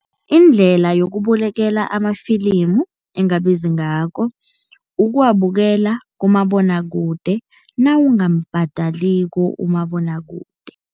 Indlela yokubulekela amafilimu engabizi ngakho, ukuwabukela kumabonwakude nawungambhadaliko umabonwakude.